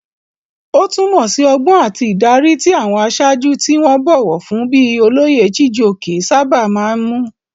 Ó túmọ̀ sí ọgbọ́n àti ìdarí, tí àwọn aṣáájú tí wọ́n bọ̀wọ̀ fún bíi olóyè Chijioke sábà máa ń mú.